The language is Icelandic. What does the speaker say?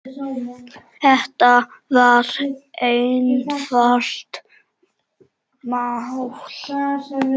Þetta var einfalt mál.